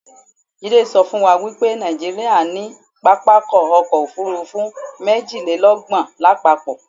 Jídé sọ fún wa wipé Nàìjíríà ní pápákọ̀ ọ̀kọ òfurufú méjìlélọ́gbọ̀n lápapọ̀